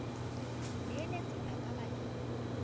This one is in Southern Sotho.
moeletsi a ka ba le